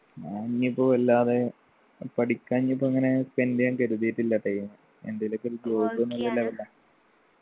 ഞാൻ ഇനിപ്പോ വല്ലാതെ പഠിക്കാൻ ഇനിയിപ്പോ അങ്ങനെ spend എയ്യാൻ കരുതീട്ടില്ല time എന്തേലു ഒക്കെ ഒരു job